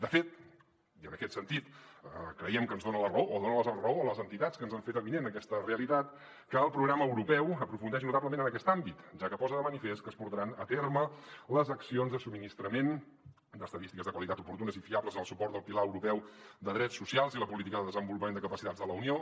de fet i en aquest sentit creiem que ens dona la raó o dona la raó a les entitats que ens han fet avinent aquesta realitat el programa europeu aprofundeix notablement en aquest àmbit ja que posa de manifest que es portaran a terme les accions de subministrament d’estadístiques de qualitat oportunes i fiables en el suport del pilar europeu de drets socials i la política de desenvolupament de capacitats de la unió